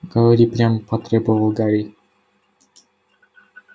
говори прямо потребовал гарри